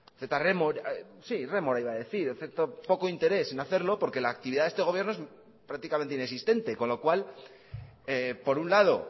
rémora poco interés en hacerlo porque la actividad de este gobierno es prácticamente inexistente con lo cual por un lado